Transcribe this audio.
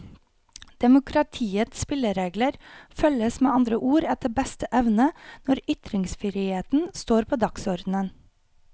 Demokratiets spilleregler følges med andre ord etter beste evne når ytringsfriheten står på dagsorden.